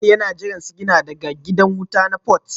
Faisal yana jiran sigina daga gidan wuta na Port